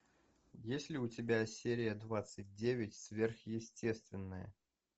есть ли у тебя серия двадцать девять сверхъестественное